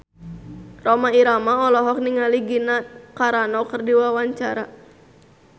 Rhoma Irama olohok ningali Gina Carano keur diwawancara